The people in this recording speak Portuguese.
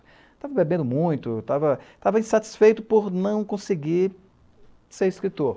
Estava bebendo muito, estava insatisfeito por não conseguir ser escritor.